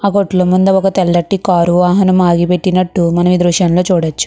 ఆ కోట్ల ముందు ఒక తెల్లటి కార్ ఆగిపట్టినట్టు మనం ఈ దృశ్యం లో చూడచ్చు.